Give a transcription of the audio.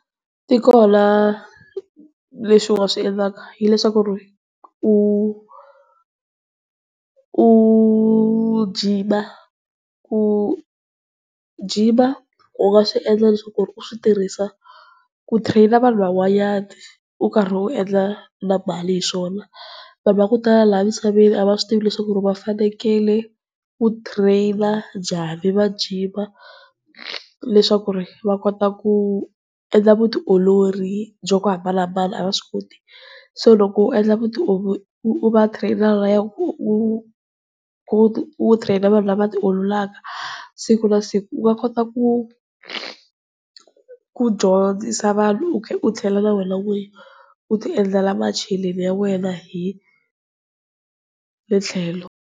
Swikona leswi u nga swi endlaka hileswaku ri u, u jima ku jima u nga swi endla leswaku ku ri u swi tirhisa ku train vanhu van'wanyana u karhi u endla na mali hiswona. Vanhu va ku tala laha misaveni a va swi tivi leswaku ri va fanekele ku train njhani, va jima, leswaku ri va kota ku endla vutiolori bya ku hambanahambana a va swi koti. So loko u endla utio vutiolori u va train lahaya u train vanhu lava tiololaka siku na siku u nga kota ku ku dyondzisa vanhu, u tlhela na wena n'winyi u ti endlela macheleni ya wena hi le tlhelo.